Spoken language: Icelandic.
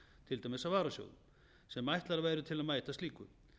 til dæmis varasjóðum sem ætlað væri til að mæta slíku